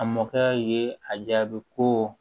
A mɔkɛ ye a jaabi ko